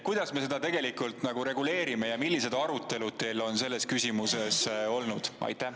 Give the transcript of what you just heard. Kuidas me seda reguleerime ja millised arutelud teil on selles küsimuses olnud?